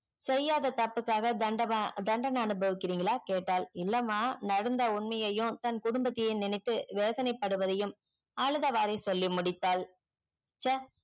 செய்யாத தப்புக்காக தண்டப தண்டனை அனுபவிக்கிரிங்களா கேட்டால்இல்லம்மா நடந்த உண்மையும் தன் குடும்பத்தையும் நினைத்து வேதனை படுவதையும் அழுதவாரே சொல்லி முடித்தாள் ச்சே